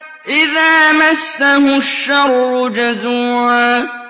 إِذَا مَسَّهُ الشَّرُّ جَزُوعًا